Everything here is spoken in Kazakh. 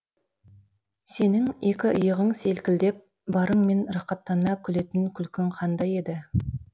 сенің екі иығың селкілдеп барыңмен рақаттана күлетін күлкің қандай еді